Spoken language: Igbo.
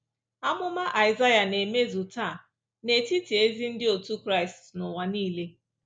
Amụma Aịsaịa na-emezu taa n’etiti ezi ndị otu Kraịst n’ụwa nile.